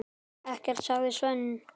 Ekkert, sagði Sveinn.